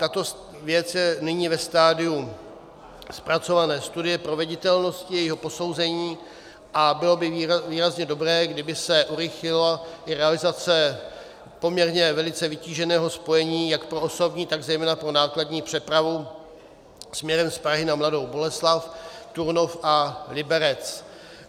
Tato věc je nyní ve stadiu zpracované studie proveditelnosti, jejího posouzení a bylo by výrazně dobré, kdyby se urychlila i realizace poměrně velice vytíženého spojení jak pro osobní, tak zejména pro nákladní přepravu směrem z Prahy na Mladou Boleslav, Turnov a Liberec.